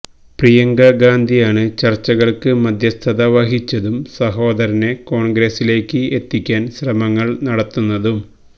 പ്രിയങ്ക ഗാന്ധിയാണ് ചര്ച്ചകള്ക്ക് മധ്യസ്ഥത വഹിച്ചതും സഹോദരനെ കോണ്ഗ്രസിലേയ്ക്ക് എത്തിക്കാന് ശ്രമങ്ങള് നടത്തുന്നതും